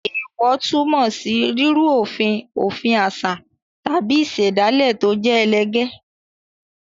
Èèwọ̀ túmọ̀ sí rírú òfin òfin àṣà tàbí ìṣẹ̀dálẹ̀ tó jẹ́ ẹlẹgẹ́.